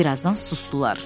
Bir azdan susdular.